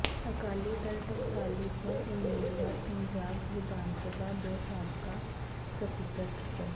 ਅਕਾਲੀ ਦਲ ਟਕਸਾਲੀ ਤੋਂ ਉਮੀਦਵਾਰ ਪੰਜਾਬ ਵਿਧਾਨਸਭਾ ਦੇ ਸਾਬਕਾ ਸਪੀਕਰ ਸ੍ਰ